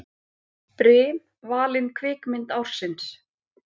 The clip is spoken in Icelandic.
Brim valin kvikmynd ársins